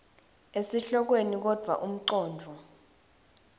esihlokweni kodvwa umcondvo